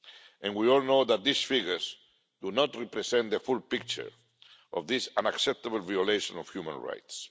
and we all know that these figures do not represent the full picture of this unacceptable violation of human rights.